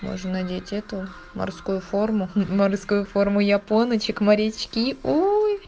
можно надеть эту морскую форму форму япончек морячки ой